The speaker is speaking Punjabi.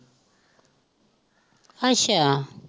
ਅੱਛਾ